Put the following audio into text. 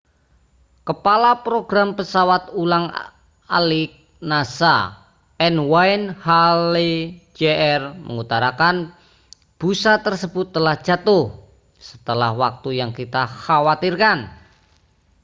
kepala program pesawat ulang-alik nasa n wayne hale jr mengutarakan busa tersebut telah jatuh setelah waktu yang kita khawatirkan